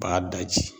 B'a daji